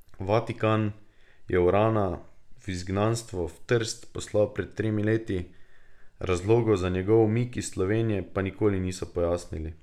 Vatikan je Urana v izgnanstvo v Trst poslal pred tremi leti, razlogov za njegov umik iz Slovenije pa nikoli niso pojasnili.